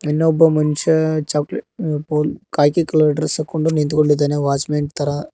ಇನ್ನೊಬ್ಬ ಮನ್ಶಾ ಚಾಕೋಲೆ ವು ಪೂ ಕಾಕಿ ಕಲರ್ ಡ್ರೆಸ್ ಅಕೊಂಡು ನಿಂತ್ಕೊಂಡಿದಾನೆ ವಾಚ್ಮನ್ ತರ.